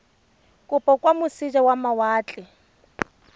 kopo kwa moseja wa mawatle